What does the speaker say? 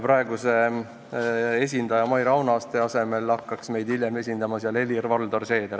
Praeguse esindaja Maire Aunaste asemel hakkaks meid seal esindama Helir-Valdor Seeder.